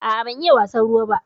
A'a ban iya wasan ruwa ba.